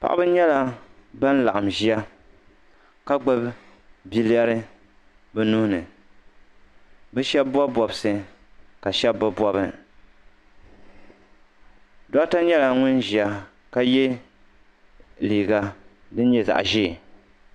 Paɣiri nyɛla ban laɣim ʒiya ka gbubi bilɛri bɛ nuhi ni bɛ shɛba bɔbi bɔbisi ka shɛba bɛ bɔbi doɣita nyɛla ŋun ʒiya ka ye liiga din nyɛ zaɣ'ʒee.